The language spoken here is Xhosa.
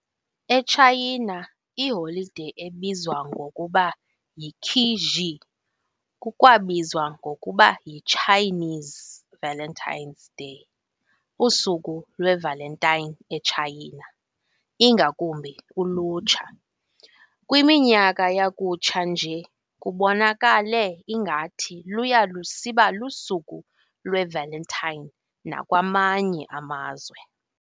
ETshayina, iholide ebizwa ngokuba yiQi Xi kukwabizwa ngokuba yi"Chinese Valentine's Day", Usuku lweValentine eTshayina, ingakumbi ulutsha. Kwiminyaka yakutsha nje, kubonakale ngathi luya lusiba lusuku lweValentine nakwamanye amazwe.